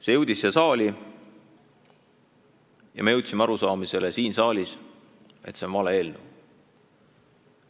See jõudis siia saali ja me jõudsime arusaamisele, et see on vale eelnõu.